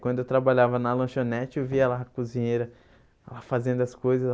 Quando eu trabalhava na lanchonete, eu via lá a cozinheira lá fazendo as coisas.